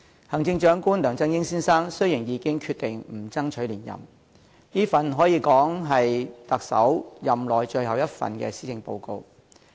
行政長官梁振英先生已決定不爭取連任，所以這可說是他特首任內最後一份施政報告。